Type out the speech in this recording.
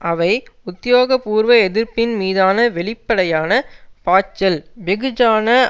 அவை உத்தியோகபூர்வ எதிர்ப்பின் மீதான வெளிப்படையான பாய்ச்சல் வெகுஜன